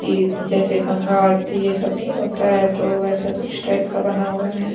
कि जैसे गंगा आरती ये सब नहीं होता है तो वैसा कुछ टाइप का बना हुआ है।